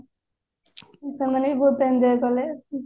ସେମାନେ ବି ବହୁତ enjoy କଲେ